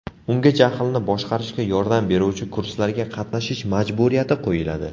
Unga jahlni boshqarishga yordam beruvchi kurslarga qatnashish majburiyati qo‘yiladi.